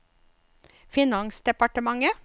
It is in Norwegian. finansdepartementet